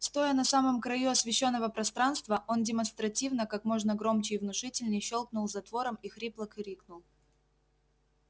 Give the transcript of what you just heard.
стоя на самом краю освещённого пространства он демонстративно как можно громче и внушительней щёлкнул затвором и хрипло крикнул